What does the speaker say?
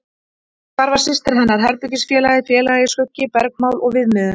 Og hvar var systir hennar, herbergisfélagi, félagi, skuggi, bergmál og viðmiðun?